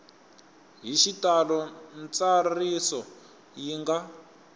hi xitalo ntsariso yi nga